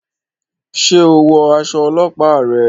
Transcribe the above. Ṣe o wọ aṣọ ọlọpa rẹ?